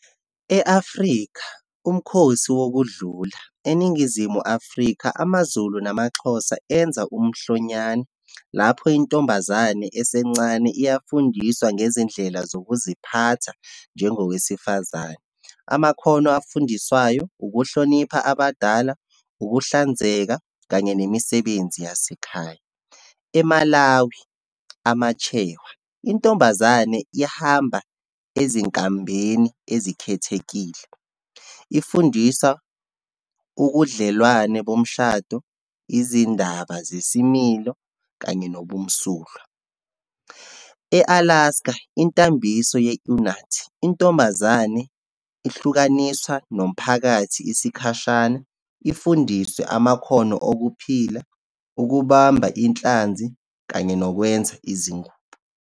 E-Afrika, umkhosi wokudlula. ENingizimu Afrika, amaZulu namaXhosa enza umhlonyane, lapho intombazane esencane iyafundiswa ngezindlela zokuziphatha, njengowesifazane. Amakhono afundiswayo, ukuhlonipha abadala, ukuhlanzeka kanye nemisebenzi yasekhaya. EMalawi, amaChewe. Intombazane ihamba ezinkambeni ezikhethekile, ifundisa ukudlelwane bomshado, izindaba zesimilo, kanye nobumsulwa. E-Alaska, intambiso ye-urnat. Intombazane, ihlukaniswa nomphakathi isikhashana, ifundiswe amakhono okuphila, ukubamba inhlanzi, kanye nokwenza izingubo.